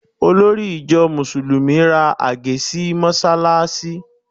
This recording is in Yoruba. Olórí ìjọ Mùsùlùmí ra àgé sí mọ́ṣáláṣí